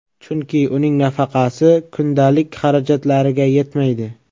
Chunki uning nafaqasi kundalik xarajatlariga yetmaydi.